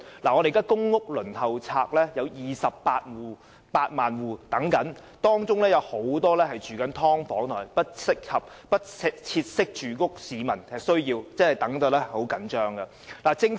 現時公屋輪候冊上有28萬戶在輪候，當中有很多正居於"劏房"或"不適切的居所"，他們已等得很焦急。